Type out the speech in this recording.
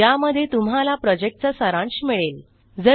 ज्यामध्ये तुम्हाला प्रॉजेक्टचा सारांश मिळेल